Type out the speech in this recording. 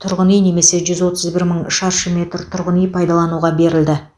тұрғын үй немесе жүз отыз бір мың шаршы метр тұрғын үй пайдалануға берілді